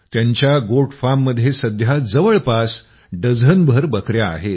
त्यांच्या गोट फार्ममध्ये सध्या जवळपास डझनभर बकया आहेत